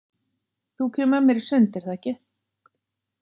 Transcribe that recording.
Þú kemur með mér í sund, er það ekki?